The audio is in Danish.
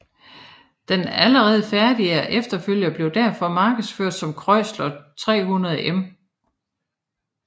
Den allerede færdige efterfølger blev derfor markedsført som Chrysler 300M